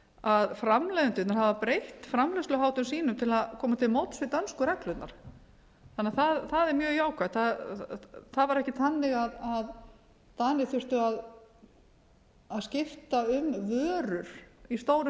að framleiðendurnir hafa breytt framleiðsluháttum sínum til að koma til móts við dönsku reglurnar það er mjög jákvætt það var ekki þannig að danir þurftu að skipta um vörur í stórum